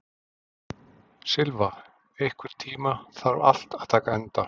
Silfa, einhvern tímann þarf allt að taka enda.